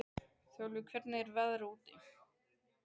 Þjálfi, hvernig er veðrið úti?